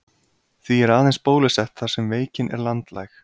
Því er aðeins bólusett þar sem veikin er landlæg.